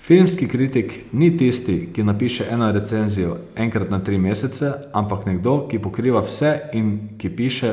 Filmski kritik ni tisti, ki napiše eno recenzijo enkrat na tri mesece, ampak nekdo, ki pokriva vse in ki piše